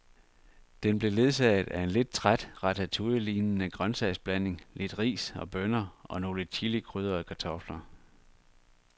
Den blev ledsaget af en lidt træt ratatouillelignende grøntsagsblanding, lidt ris og bønner og nogle chilikrydrede kartofler.